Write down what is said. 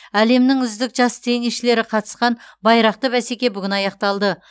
әлемнің үздік жас теннисшілері қатысқан байрақты бәсеке бүгін аяқталды